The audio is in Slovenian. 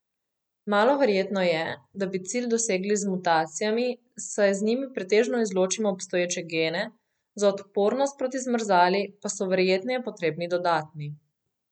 Malo verjetno je, da bi cilj dosegli z mutacijami, saj z njimi pretežno izločimo obstoječe gene, za odpornost proti zmrzali pa so verjetneje potrebni dodatni.